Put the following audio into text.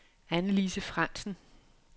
Annelise Frandsen